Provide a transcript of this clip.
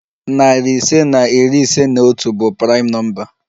Narị ise na iri ise na otu bụ praịm nọmba.